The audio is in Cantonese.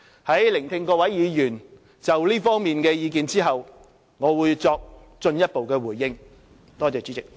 在聆聽各位議員就這方面的意見後，我會作進一步回應。